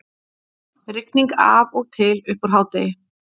Rigning af og til uppúr hádegi